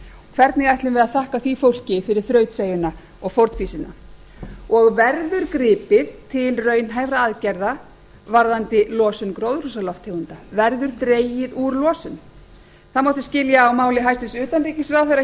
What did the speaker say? hvernig ætlum við að þakka því fólki fyrir þrautseigjuna og fórnfýsina verður gripið til raunhæfra aðgerða varðandi losun gróðurhúsalofttegunda verður dregið úr losun það mátti skilja á máli hæstvirts utanríkisráðherra